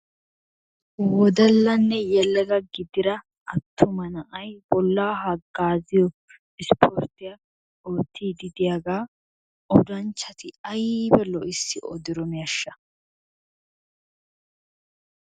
wodallanne yelaga gididda atumma na'ay bolaa hagaazziyo ispporttiya ooyiidi diyaaga odanchati aybba lo'issi odidonaasha